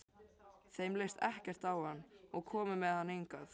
Þeim leist ekkert á hann og komu með hann hingað.